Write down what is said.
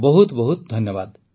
ବହୁତ ବହୁତ ଧନ୍ୟବାଦ